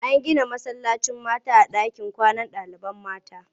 An gina masallacin mata a ɗakin kwanan ɗalibai mata.